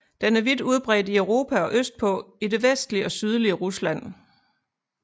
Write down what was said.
Den er vidt udbredt i Europa og østpå i det vestlige og sydlige Rusland